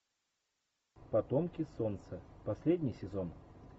потомки солнца последний сезон